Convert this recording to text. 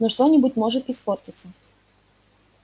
но что-нибудь может испортиться